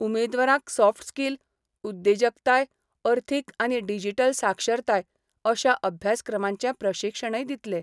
उमेदवारांक soft skill, उद्देजकताय, अर्थीक आनी डिजिटल साक्षरताय अशा अभ्यासक्रमांचे प्रशिक्षणय दितले.